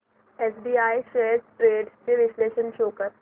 SBI shares trends चे विश्लेषण show कर